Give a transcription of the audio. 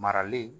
Marali